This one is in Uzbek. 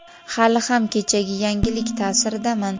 Hali ham kechagi yangilik taʼsiridaman.